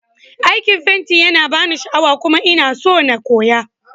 Aikin fenti yana bani sha'awa kuma ina so na koya.